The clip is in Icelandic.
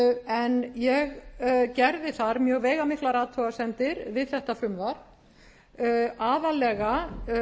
en ég gerði þar mjög veigamiklar athugasemdir við þetta frumvarp aðallega